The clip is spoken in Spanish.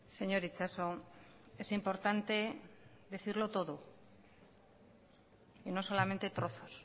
señor itxaso es importante decirlo todo y no solamente trozos